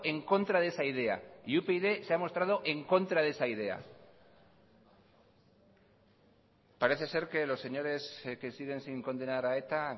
en contra de esa idea y upyd se ha mostrado en contra de esa idea parece ser que los señores que siguen sin condenar a eta